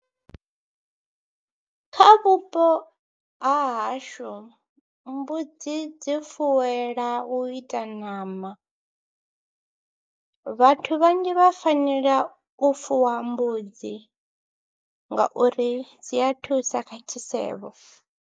Kha vhupo ha hashu mbudzi dzi fuwelwa u ita ṋama, vhathu vhanzhi vha fanela u fuwa mbudzi ngauri dzi a thusa kha tshisevho.